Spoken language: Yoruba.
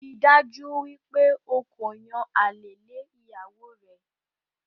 Ríi dájú wípé o ko yan àlè lé ìyàwó rẹ